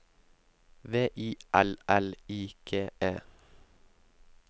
V I L L I G E